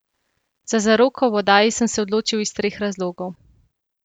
Za zaroko v oddaji sem se odločil iz treh razlogov.